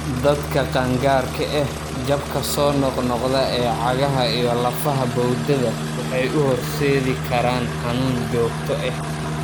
Dadka qaangaarka ah, jabka soo noqnoqda ee cagaha iyo lafaha bowdada waxay u horseedi karaan xanuun joogto ah.